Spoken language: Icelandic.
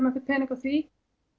einhvern pening á því